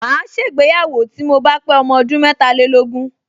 Màá ṣègbéyàwó tí mo bá pé ọmọ ọdún metàlélógún